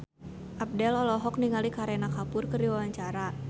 Abdel olohok ningali Kareena Kapoor keur diwawancara